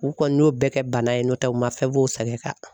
U kɔni y'o bɛɛ kɛ bana ye n'o tɛ u ma fɛn f'o sɛgɛn kan.